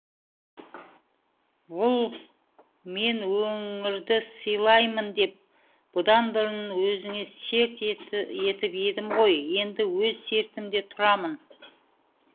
бұл мен өңірді сыйлаймын деп бұдан бұрын өзіңе серт етіп едім ғой енді өз сертімде тұрамын